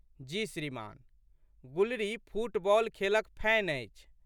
जी श्रीमान्! गुलरी फुटबॉल खेलक फैन अछि।